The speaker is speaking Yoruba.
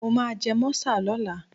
Mo máa jẹ mọ́sà lọ́la.